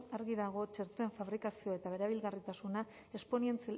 argi dago txertoen fabrikazioa eta erabilgarritasuna